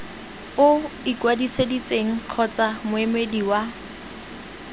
o ikwadisitseng kgotsa moemedi wa